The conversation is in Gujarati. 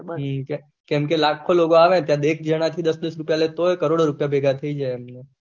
હમ કેમ કે લાખો લોગ આવે ત્યાં એક જના થી દસ દસ રુપયા લે તોઈ કરોડો રુપયા ભેગા થઇ જાય એમને